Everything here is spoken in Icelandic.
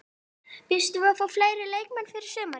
Býstu við að fá fleiri leikmenn fyrir sumarið?